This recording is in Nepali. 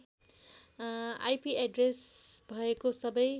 आइपि एड्ड्रेस भएको सबै